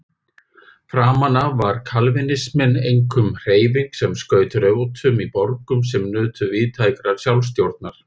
Framan af var kalvínisminn einkum hreyfing sem skaut rótum í borgum sem nutu víðtækrar sjálfsstjórnar.